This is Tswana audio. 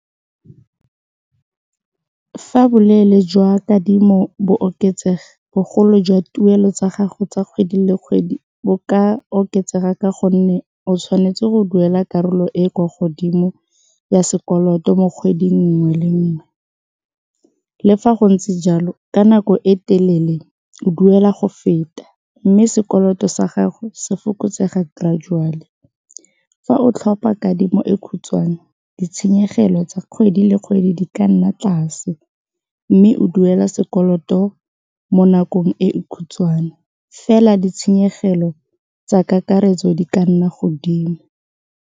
Fa boleele jwa kadimo bo oketsega bogolo jwa tuelo tsa gago tsa kgwedi le kgwedi bo ka oketsega ka gonne o tshwanetse go duela karolo e e kwa godimo ya sekoloto mo kgweding nngwe le nngwe, le fa go ntse jalo ka nako e telele o duela go feta mme sekoloto sa gago se fokotsega gradually. Fa o tlhopa kadimo e khutshwane ditshenyegelo tsa kgwedi le kgwedi di ka nna tlase, mme o duela sekoloto mo nakong e khutshwane fela ditshenyegelo tsa kakaretso di ka nna godimo.